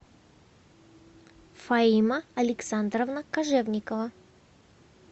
фаима александровна кожевникова